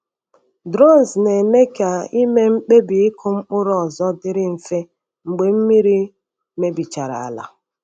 Drones na-eme ka ịme mkpebi ịkụ mkpụrụ ọzọ dịrị mfe mgbe mmiri mebichara ala.